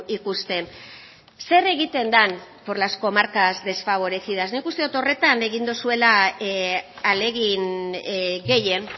ikusten zer egiten den por las comarcas desfavorecidas nik uste dut horretan egin duzuela ahalegin gehien